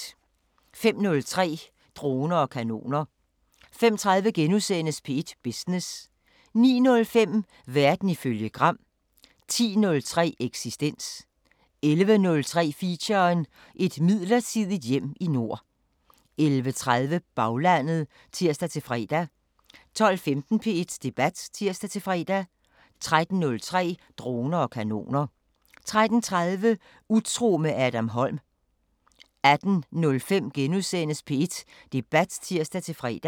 05:03: Droner og kanoner 05:30: P1 Business * 09:05: Verden ifølge Gram 10:03: Eksistens 11:03: Feature: Et midlertidigt hjem i nord 11:30: Baglandet (tir-fre) 12:15: P1 Debat (tir-fre) 13:03: Droner og kanoner 13:30: Utro med Adam Holm 18:05: P1 Debat *(tir-fre)